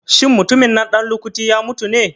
Shin mutumin nan ɗan lukuti ya mutu ne?